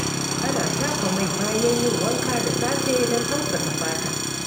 Ana shafa mai bayan yin wanka da safe don tausasa fata.